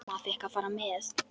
Amma fékk að fara með.